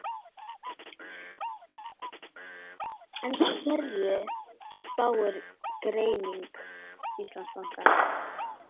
En hverju spáir greining Íslandsbanka?